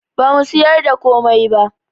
Bamu siyar da komai ba